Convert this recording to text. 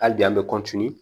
Hali bi an bɛ